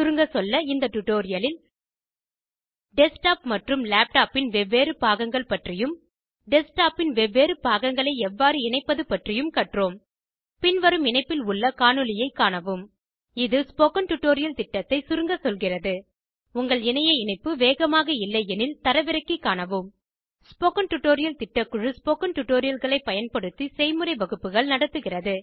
சுருங்க சொல்ல இந்த டுடோரியலில் டெஸ்க்டாப் மற்றும் லேப்டாப்பின் வெவ்வேறு பாகங்கள் பற்றியும் டெஸ்க்டாப்பின் வெவ்வேறு பாகங்களை எவ்வாறு இணைப்பது பற்றியும் கற்றோம் பின்வரும் இணைப்பில் உள்ள காணொளியைக் காணவும் இது ஸ்போகன் டுடோரியல் திட்டத்தை சுருங்க சொல்கிறது உங்கள் இணைய இணைப்பு வேகமாக இல்லையெனில் தரவிறக்கி காணவும் ஸ்போகன் டுடோரியல் திட்டக்குழு ஸ்போகன் டுடோரியல்களை பயன்படுத்தி செய்முறை வகுப்புகள் நடத்துகிறது